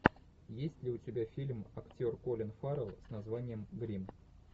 есть ли у тебя фильм актер колин фаррелл с названием гримм